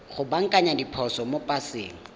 go baakanya diphoso mo paseng